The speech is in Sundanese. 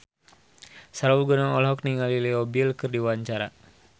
Sahrul Gunawan olohok ningali Leo Bill keur diwawancara